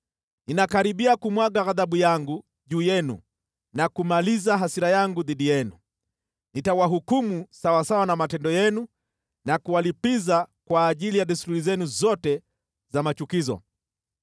Ninakaribia kumwaga ghadhabu yangu juu yenu na kumaliza hasira yangu dhidi yenu, nitawahukumu sawasawa na matendo yenu na kuwalipiza kwa ajili ya desturi zenu zote za machukizo.